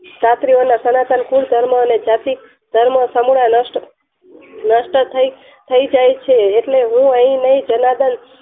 રાત્રિઓના સનાતન કુલ ના ધર્મ અને જાતીયધર્મ અને નષ્ટ થય જાય છે એટલે હું અહીં નય જર્નાદન